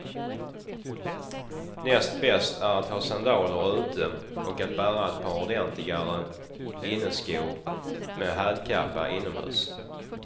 Näst bäst är att ha sandaler ute och att bära ett par ordentligare inneskor med hälkappa inomhus.